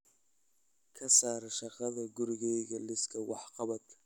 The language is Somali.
Ka saar shaqada gurigayga liiska wax-qabadka